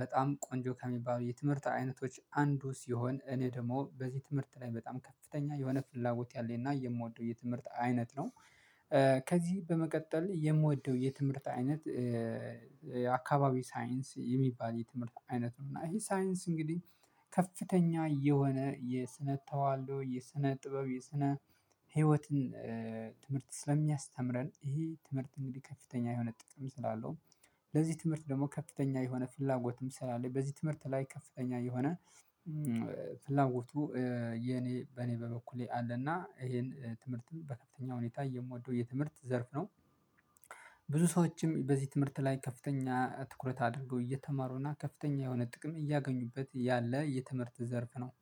በጣም ቆንጆ ከሚባሉ የትምህርት አይነቶች አንዱ ሲሆን እኔ ደግሞ በዚህ ትምህርት ላይ በጣም ከፍተኛ የሆነ ፍላጎት ያለኝ እና የምወደው የትምህርት አይነት ነው። ከዚህ በመቀጠል የምወደው የትምህርት አይነት። የአካባቢ ሳይንስ የሚባል የትምህርት አይነት ነው እና ይሄ ሳይንስ እንግዲህ ከፍተኛ የሆነ የስነተዋልዶ የስነጥበብ የስነህይወትን ትምህርት ስለሚያስተምረን ይሄ ትምህርት እንግዲህ ከፍተኛ የሆነ ጥቅም ስላለው ለዚህ ትምህርት ደግሞ ከፍተኛ የሆነ ፍላጎትም ስላለ በዚህ ትምህርት ላይ ከፍተኛ የሆነ ፍላጎቱ የኔ በኔ በበኩሌ አለና ይሄን ትምህርትን በከፍተኛ ሁኔታ የምወደው የትምህርት ዘርፍ ነው። ብዙ ሰዎችም በዚህ ትምህርት ላይ ከፍተኛ ትኩረት አድርገው እየተማሩና ከፍተኛ የሆነ ጥቅም እያገኙበት ያለ የትምህርት ዘርፍ ነው